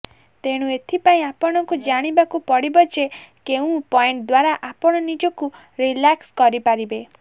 ତେଣୁ ଏଥିପାଇଁ ଆପଣଙ୍କୁ ଜାଣିବାକୁ ପଡିବ ଯେ କେଉଁ ପଏଣ୍ଟ ଦ୍ୱାରା ଆପଣ ନିଜକୁ ରିଲାକ୍ସ କରି ପାରିବେ